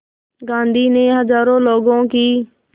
गांधी ने हज़ारों लोगों की